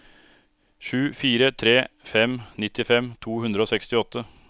sju fire tre fem nittifem to hundre og sekstiåtte